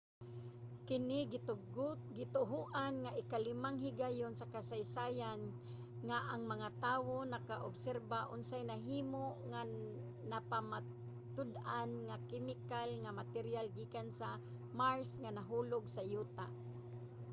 kini gituohan nga ikalimang higayon sa kasaysayan nga ang mga tawo nakaobserba unsay nahimo nga napamatud-an nga kemikal nga materyal gikan sa mars nga nahulog sa yuta